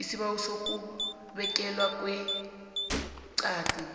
isibawo sokubekelwa ngeqadi